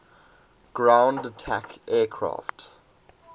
ground attack aircraft